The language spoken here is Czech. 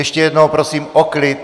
Ještě jednou prosím o klid!